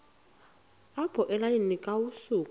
apho elalini kwasuka